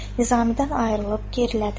Nizamidən ayrılıb gerilədi.